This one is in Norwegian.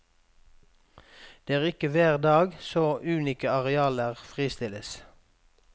Det er ikke hver dag så unike arealer fristilles.